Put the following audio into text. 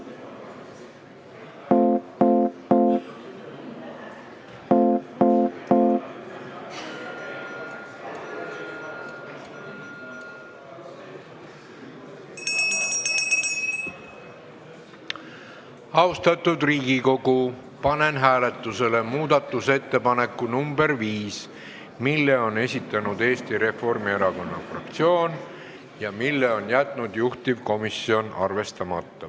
Austatud Riigikogu, panen hääletusele muudatusettepaneku nr 5, mille on esitanud Eesti Reformierakonna fraktsioon ja mille juhtivkomisjon on jätnud arvestamata.